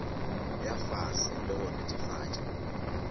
ya fase le go netefatša